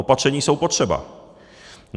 Opatření jsou potřeba.